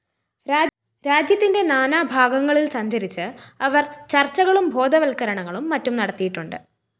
രാജ്യത്തിന്റെ നാനാഭാഗങ്ങളില്‍ സഞ്ചരിച്ച് അവര്‍ ചര്‍ച്ചകളും ബോധവല്‍ക്കരണങ്ങളും മറ്റും നടത്തിയിട്ടുണ്ട്